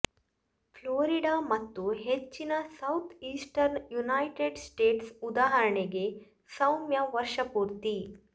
Florida ಮತ್ತು ಹೆಚ್ಚಿನ southeastern United States ಉದಾಹರಣೆಗೆ ಸೌಮ್ಯ ವರ್ಷಪೂರ್ತಿ